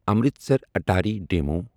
Amritsar Attari demo